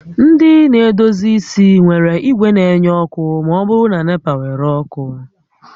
Ndị na-edozi isi nwere igwe na-enye ọkụ ma ọ bụrụ na NEPA were ọkụ